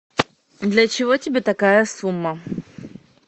для чего тебе такая сумма